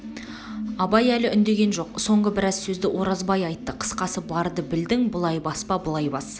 абай әлі үндеген жоқ соңғы біраз сөзді оразбай айтты қысқасы барды білдің былай баспа былай бас